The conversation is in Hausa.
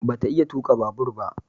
Ba ta iya tuka babur ba